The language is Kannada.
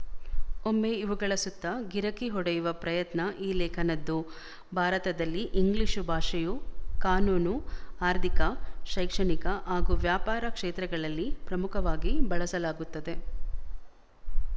ಒಮ್ಮೆ ಇವುಗಳ ಸುತ್ತ ಗಿರಕಿ ಹೊಡೆಯುವ ಪ್ರಯತ್ನ ಈ ಲೇಖನದ್ದು ಭಾರತದಲ್ಲಿ ಇಂಗ್ಲಿಶು ಭಾಷೆಯು ಕಾನೂನು ಆರ್ಥಿಕ ಶೈಕ್ಷಣಿಕ ಹಾಗು ವ್ಯಾಪಾರ ಕ್ಷೇತ್ರಗಳಲ್ಲಿ ಪ್ರಮುಖವಾಗಿ ಬಳಸಲಾಗುತ್ತದೆ